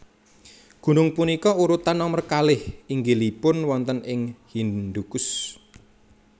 Gunung punika urutan nomer kalih inggilipun wonten ing Hindukush